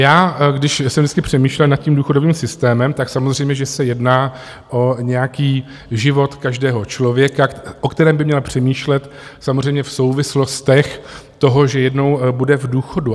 Já když jsem vždycky přemýšlel nad tím důchodovým systémem, tak samozřejmě že se jedná o nějaký život každého člověka, o kterém by měl přemýšlet samozřejmě v souvislostech toho, že jednou bude v důchodu.